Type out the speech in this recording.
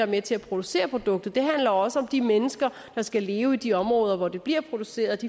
med til at producere produktet men det handler også om de mennesker der skal leve i de områder hvor det bliver produceret